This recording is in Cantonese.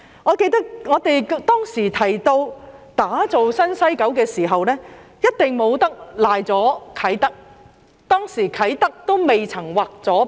我記得，當時我們提到打造新西九，一定不能遺漏了啟德，而當時啟德仍未劃入九龍西。